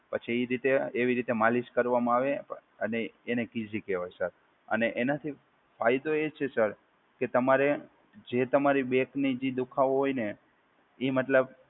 પછી એ રીતે એવી રીતે માલિશ કરવામાં આવે અને એને કીઝી કહેવાય સર અને એનાથી ફાયદો એ છે સર કે તમારે જે તમારી બેકની જે દુખાવો હોય ને એ મતલબ